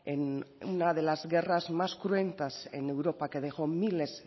en una de las guerras más cruentas en europa que dejó miles